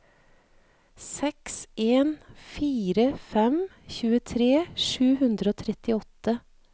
seks en fire fem tjuetre sju hundre og trettiåtte